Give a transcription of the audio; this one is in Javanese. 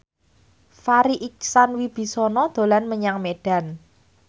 Farri Icksan Wibisana dolan menyang Medan